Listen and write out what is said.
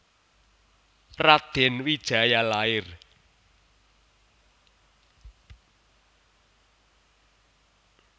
Radèn Wijaya lair